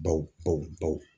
Bawo.